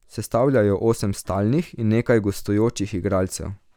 Sestavlja jo osem stalnih in nekaj gostujočih igralcev.